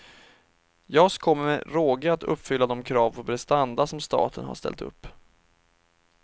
Jas kommer med råge att uppfylla de krav på prestanda som staten har ställt upp.